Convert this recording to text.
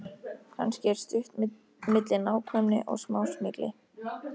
Kannski er stutt milli nákvæmni og smásmygli.